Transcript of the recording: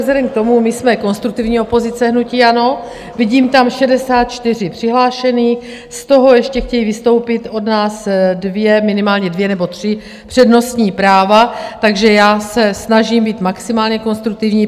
Vzhledem k tomu, my jsme konstruktivní opozice, hnutí ANO, vidím tam 64 přihlášených, z toho ještě chtějí vystoupit od nás dvě, minimálně dvě nebo tři přednostní práva, takže já se snažím být maximálně konstruktivní.